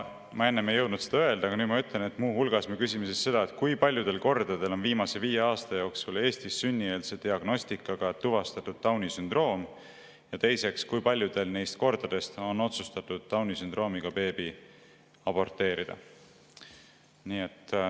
Ma enne ei jõudnud seda öelda, aga nüüd ütlen, et muu hulgas me küsime seda, kui paljudel kordadel on viimase viie aasta jooksul Eestis sünnieelse diagnostikaga tuvastatud Downi sündroom, ja teiseks, kui paljudel neist kordadest on otsustatud Downi sündroomiga beebi aborteerida.